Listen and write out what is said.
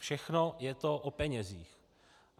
Všechno je to o penězích.